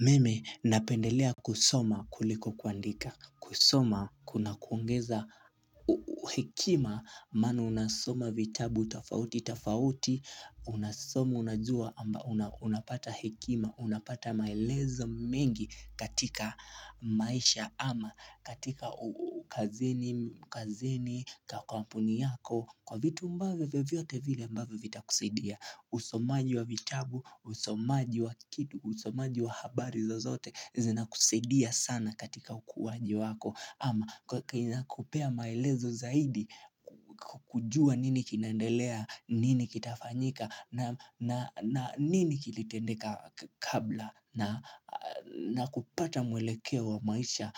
Mimi napendelea kusoma kuliko kuandika, kusoma kuna kuongeza hekima maana unasoma vitabu, tofauti, tofauti, unasoma, unajua amba unapata hekima, unapata maelezo mengi katika maisha ama, katika kazini, kazini, kwa kampuni yako, kwa vitu ambavyo vyovyote vile ambavyo vitakusidia. Usomaji wa vitabu, usomaji wa kitu, usomaji wa habari zozote Zinakusaidia sana katika ukuwaji wako ama kinakupea maelezo zaidi kujua nini kinaendelea, nini kitafanyika na nini kilitendeka kabla na kupata mwelekeo wa maisha